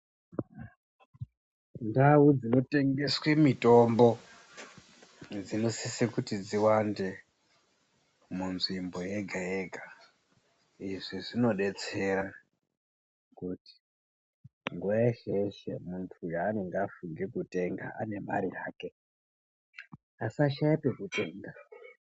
Ndau dzinotengeswe mitombo dzinosise kuti dziwande munzvimbo yega-yega. Izvi zvinodetsera kuti nguva yeshe-yeshe muntu yaanenge afunga kutenga ane mare yake asashaya pekutenga.